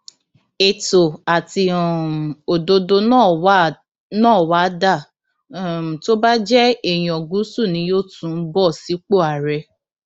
ètò àti um òdodo náà wàá dà um tó bá jẹ èèyàn gúúsù ni yóò tún bọ sípò àárẹ